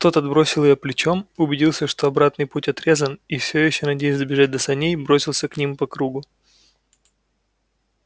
тот отбросил её плечом убедился что обратный путь отрезан и всё ещё надеясь добежать до саней бросился к ним по кругу